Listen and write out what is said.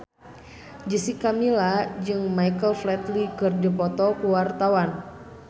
Jessica Milla jeung Michael Flatley keur dipoto ku wartawan